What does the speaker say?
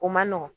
O man nɔgɔn